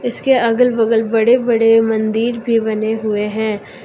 इसके अगल बगल बड़े बड़े मंदिर भी बने हुए हैं।